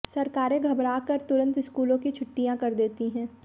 सरकारें घबरा कर तुरंत स्कूलों की छुट्टियां कर देती हैं